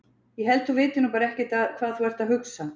Ég held að þú vitir nú bara ekkert hvað þú ert að hugsa!